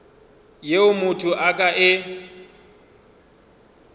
yeo motho a ka e